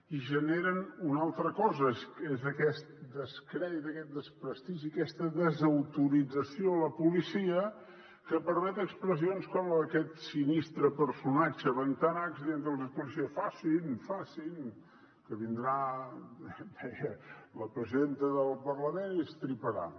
i generen una altra cosa és aquest descrèdit aquest despres·tigi aquesta desautorització de la policia que permet expressions com la d’aquest sinistre personatge bentanachs dient·los als policies facin facin que vindrà deia la presidenta del parlament i estriparà